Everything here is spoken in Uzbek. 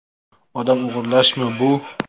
Odam o‘g‘irlashmi bu?